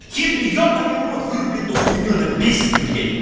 хитрый ёбаный в урод выруби эту хуйню она бесит блять